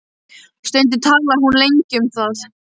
Stundum talar hún lengi um það.